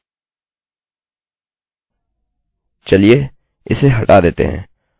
चलिए इसे हटा देते है और फिर से शुरू करें